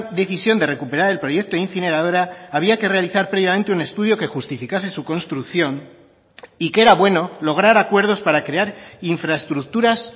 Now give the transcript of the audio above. decisión de recuperar el proyecto incineradora había que realizar previamente un estudio que justificase su construcción y que era bueno lograr acuerdos para crear infraestructuras